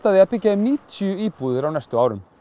því að byggja níutíu íbúðir á næstu árum